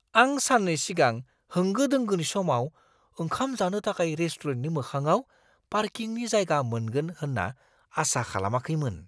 आं सान्नै सिगां होंगो दोंगोनि समाव ओंखाम जानो थाखाय रेस्टुरेन्टनि मोखाङाव पार्किंनि जायगा मोनगोन होन्ना आसा खालामाखैमोन।